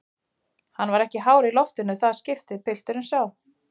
Hann var ekki hár í loftinu í það skiptið, pilturinn sá.